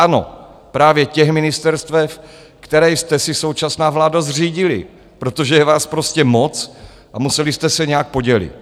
Ano, právě těch ministerstev, která jste si, současná vládo, zřídila - protože je vás prostě moc a museli jste se nějak podělit.